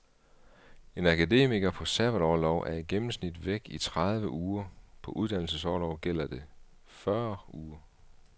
En akademiker på sabbatorlov er i gennemsnit væk i tredive uger, på uddannelsesorlov gælder det fyrre uger.